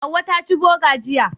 Hauwa ta ci Boga jiya.